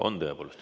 On tõepoolest.